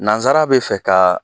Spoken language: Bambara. Nansara bɛ fɛ ka